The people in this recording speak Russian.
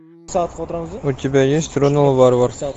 у тебя есть ронал варвар